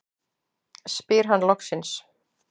spyr hann loksins.